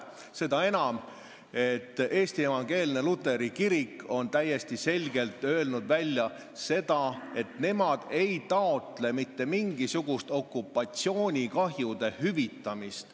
Seda enam, et Eesti Evangeelne Luterlik Kirik on täiesti selgelt öelnud, et nemad ei taotle mitte mingisugust okupatsioonikahjude hüvitamist.